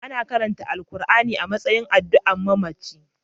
Ana karanta Alkur'ani a matsayin addu'a a mamaci